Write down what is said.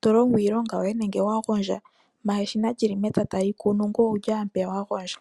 to longo iilonga yoye nenge wa gondja, manga eshina li li mepya tali kunu, ngoye owu li owala mpeya wa gondja.